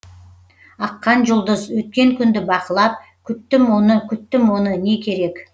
аққан жұлдыз өткен күнді бақылап күттім оны күттім оны не керек